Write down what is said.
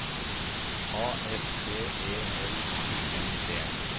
A S P E L U N D